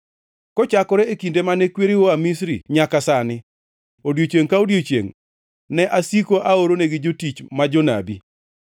Kochakore e kinde mane kwereu oa Misri nyaka sani, odiechiengʼ ka odiechiengʼ, ne asiko aoronegi jotich ma jonabi.